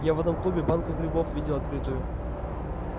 я в одном клубе банку грибов видел открытую